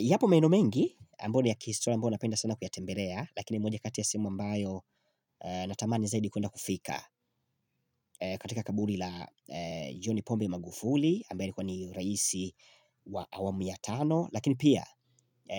Yapo maeneo mengi, ambayo ni ya kihistoria ambayo ninapenda sana kuyatembelea, lakini moja kati ya sehemu ambayo natamani zaidi kwenda kufika katika kaburi la Joni pombe Magufuli, ambaye alikuwa ni raisi wa awamu ya tano, lakini pia